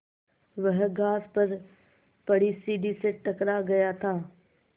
वह घास पर पड़ी सीढ़ी से टकरा गया था